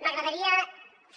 m’agradaria